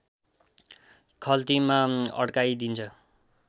खल्तीमा अड्काइदिन्छ